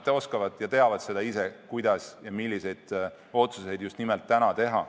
Nad teavad ise, kuidas ja milliseid otsuseid just nimelt täna teha.